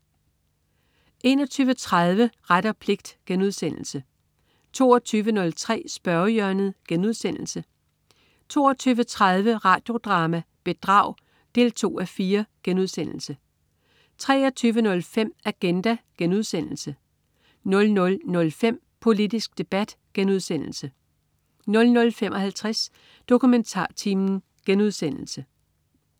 21.30 Ret og pligt* 22.03 Spørgehjørnet* 22.30 Radio Drama: Bedrag 2:4* 23.05 Agenda* 00.05 Politisk debat* 00.55 DokumentarTimen*